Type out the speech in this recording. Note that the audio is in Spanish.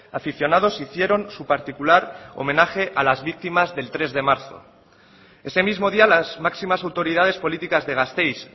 aficionados hicieron su particular homenaje a las víctimas del tres de marzo ese mismo día las máximas autoridades políticas de gasteiz